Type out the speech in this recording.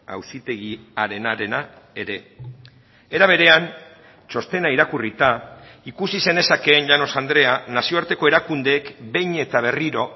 auzitegiarenarena ere era berean txostena irakurrita ikusi zenezakeen llanos andrea nazioarteko erakundeek behin eta berriro